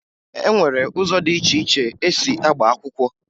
E nwere ụzọ dị iche iche esi agba akwụkwọ